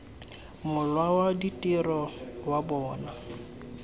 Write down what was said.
mola wa ditiro wa bona